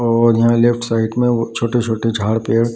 और यहाँ left side में छोटे-छोटे झाड़ पेड़ --